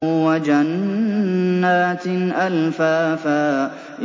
وَجَنَّاتٍ أَلْفَافًا